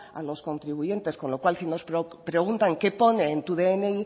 a los contribuyentes con lo cual si nos preguntan qué pone en tu dni